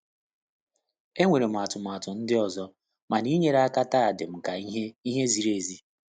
Enwere m atụmatụ ndị ọzọ, mana inyere ya aka taa dịm ka ihe ihe ziri ezi.